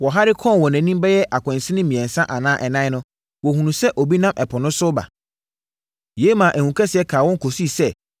Wɔhare kɔɔ wɔn anim bɛyɛ akwansini mmiɛnsa anaa ɛnan no, wɔhunuu sɛ obi nam ɛpo no so reba; yei maa ehu kaa wɔn kɔsii sɛ,